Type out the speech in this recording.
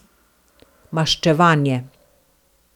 Maščevanje.